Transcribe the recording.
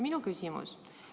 Minu küsimus on järgmine.